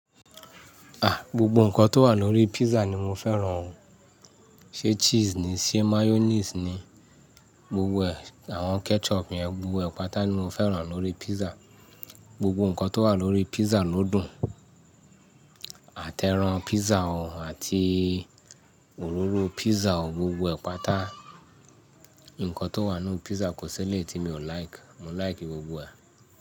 A! Gbogbo ǹkan tó wà lórí pizza ni mo fẹ́ràn o. Ṣé cheese ni, ṣé mayonnaise ni, gbogbo àwọn ketchup yẹn, gbogbo ẹ̀ pàtà ni mo fẹ́ràn lórí pizza. Gbogbo ǹkan tó wà lórí pizza ló dùn. Àtẹ́ran pizza o àti òróró pizza o, gbogbo ẹ̀ pàtà ǹkan tó wà nínú pizza kò sí elé tí mi ò like. Mo like gbogbo rẹ̀.